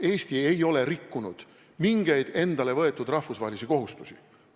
Eesti ei ole rikkunud mingeid endale võetud rahvusvahelisi kohustusi.